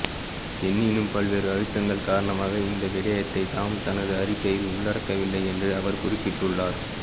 எனினும் பல்வேறு அழுத்தங்கள் காரணமாக இந்த விடயத்தை தாம் தமது அறிக்கையில் உள்ளடக்கவில்லை என்றும் அவர் குறிப்பிட்டுள்ளார்